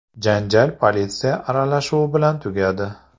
Janjal politsiya aralashuvi bilan tugadi.